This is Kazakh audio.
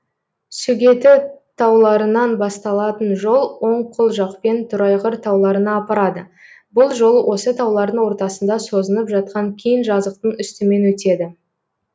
сөгеті тауларынан басталатын жол оң қол жақпен торайғыр тауларына апарады бұл жол осы таулардың ортасында созынып жатқан кең жазықтың үстімен өтеді